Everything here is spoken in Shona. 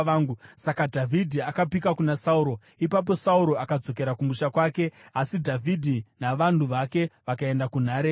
Saka Dhavhidhi akapika kuna Sauro. Ipapo Sauro akadzokera kumusha kwake, asi Dhavhidhi navanhu vake vakaenda kunhare yavo.